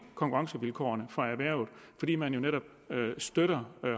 konkurrencevilkårene for erhvervet fordi man jo netop støtter